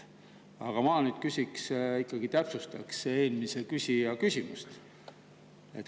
Aga ma täpsustaks eelmise küsija küsimust.